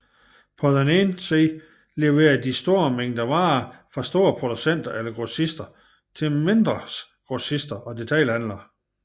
På den ene side leverer de store mængder varer fra store producenter eller grossister til mindres grossister og detailhandler